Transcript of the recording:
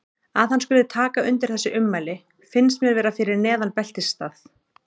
Að hann skuli taka undir þessi ummæli finnst mér vera fyrir neðan beltisstað.